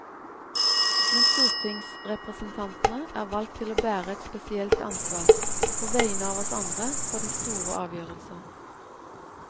Men stortingsrepresentantene er valgt til å bære et spesielt ansvar, på vegne av oss andre, for de store avgjørelser.